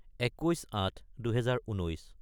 : 21-08-2019